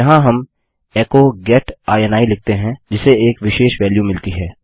यहाँ हम एचो गेट इनी लिखते हैं जिसे एक विशेष वेल्यू मिलती है